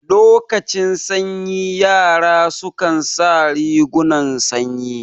Lokacin sanyi yara su kan sa rigunan sanyi